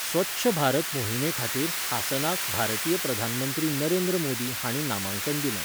स्वच्छ भारत मोहिमे खातीर हासनाक भारतीय प्रधानमंत्री नरेंद्र मोदी हांणी नामांकन दिल्लें.